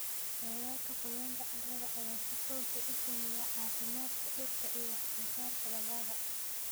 Heerarka qoyaanka carrada ayaa si toos ah u saameeya caafimaadka dhirta iyo wax-soo-saarka dalagga.